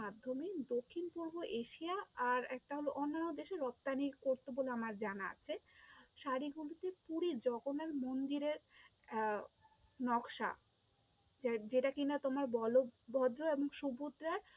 মাধ্যমে দক্ষিণ-পূর্ব এশিয়া আর একটা হলো অন্যান্য দেশে রপ্তানি করতো বলে আমার জানা আছে, শাড়িগুলিতে পুরী জগন্নাথ মন্দিরের আহ নকশা যেটা কি না তোমার বলভদ্র এবং সুভদ্রার